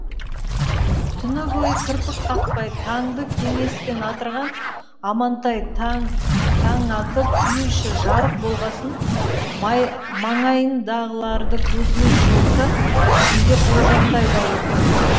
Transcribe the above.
түні бойы кірпік қақпай таңды кеңеспен атырған амантай таң атып үй іші жарық болғасын маңайындағыларды көзімен шолса ішінде қожантай да отыр